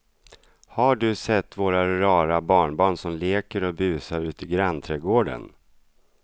Har du sett våra rara barnbarn som leker och busar ute i grannträdgården!